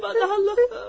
Aman Allahım.